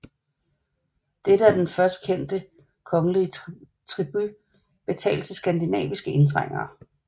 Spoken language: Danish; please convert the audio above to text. Det er den først kendte kongelige tribut betalt til skandinaviske indtrængere